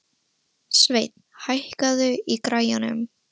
Sveinn, hækkaðu í græjunum.